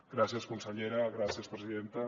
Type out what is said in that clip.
gràcies consellera gràcies presidenta